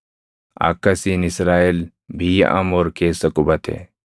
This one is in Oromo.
Akkasiin Israaʼel biyya Amoor keessa qubate.